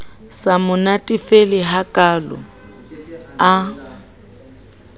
sa mo natefele hakalo a